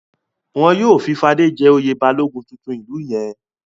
Wọn yóò fi Fadé jẹ oyè Balógun tuntun ìlú yẹn.